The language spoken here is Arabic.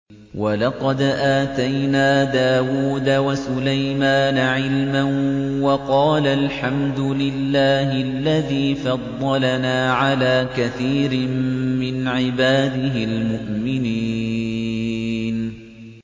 وَلَقَدْ آتَيْنَا دَاوُودَ وَسُلَيْمَانَ عِلْمًا ۖ وَقَالَا الْحَمْدُ لِلَّهِ الَّذِي فَضَّلَنَا عَلَىٰ كَثِيرٍ مِّنْ عِبَادِهِ الْمُؤْمِنِينَ